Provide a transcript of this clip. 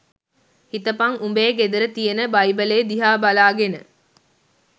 හිතපං උඹේ ගෙදර තියෙන බයිබලේ දිහා බලාගෙන